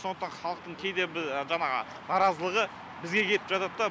сондықтан халықтың кейде бір жаңағы наразылығы бізге кеп жатат та